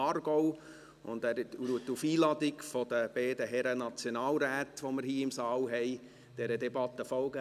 Aargau und wird dieser Debatte auf Einladung der beiden Herren Nationalräte folgen, die wir hier im Saal haben.